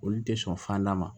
Olu tɛ sɔn fanda ma